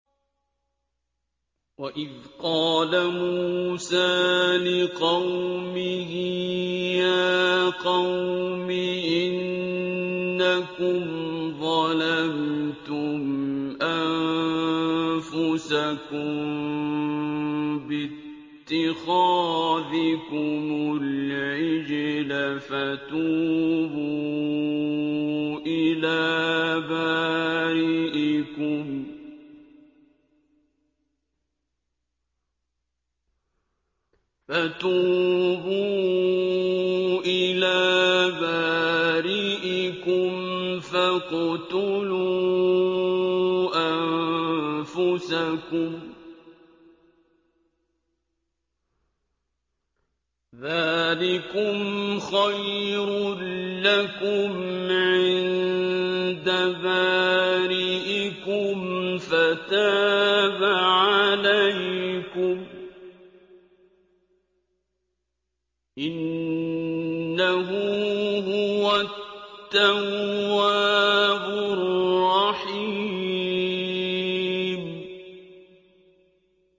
وَإِذْ قَالَ مُوسَىٰ لِقَوْمِهِ يَا قَوْمِ إِنَّكُمْ ظَلَمْتُمْ أَنفُسَكُم بِاتِّخَاذِكُمُ الْعِجْلَ فَتُوبُوا إِلَىٰ بَارِئِكُمْ فَاقْتُلُوا أَنفُسَكُمْ ذَٰلِكُمْ خَيْرٌ لَّكُمْ عِندَ بَارِئِكُمْ فَتَابَ عَلَيْكُمْ ۚ إِنَّهُ هُوَ التَّوَّابُ الرَّحِيمُ